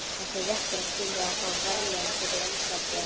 Þessi réttur á skilið að fá verðlaun fyrir einfaldleika.